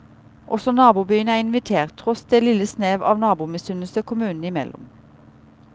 Også nabobyene er invitert, tross det lille snev av nabomisunnelse kommunene imellom.